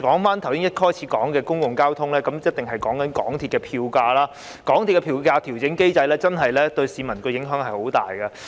說回一開始提及的公共交通，便必定要談談香港鐵路有限公司的票價，港鐵公司的票價調整機制真的對市民影響甚大。